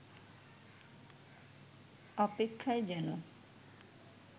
অপেক্ষায় যেন